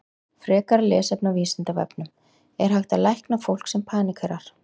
Frekara lesefni á Vísindavefnum: Er hægt að lækna fólk sem paníkerar?